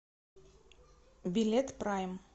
билет прайм